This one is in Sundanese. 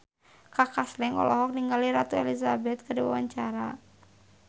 Kaka Slank olohok ningali Ratu Elizabeth keur diwawancara